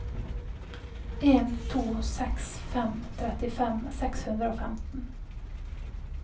en to seks fem trettifem seks hundre og femten